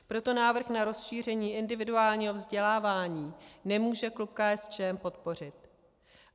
Proto návrh na rozšíření individuálního vzdělávání nemůže klub KSČM podpořit.